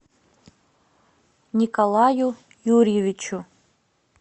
николаю юрьевичу